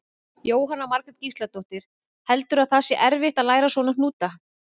Jóhanna Margrét Gísladóttir: Heldurðu að það sé erfitt að læra svona hnúta?